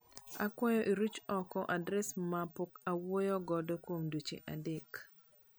Akwayo iruch oko adres ma pok awuoyo godo kuom dweche adek.